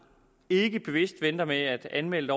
ikke bevidst venter med at anmelde